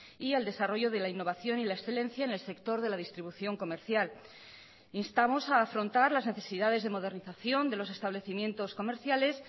y al desarrollo de la innovación y la excelencia en el sector de la distribución comercial instamos a afrontar las necesidades de modernización de los establecimientos comerciales